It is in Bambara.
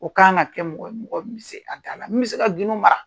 O kan ka kɛ mɔgɔ ye mɔgɔ min bɛ se a da la min bƐ se ka gindo mara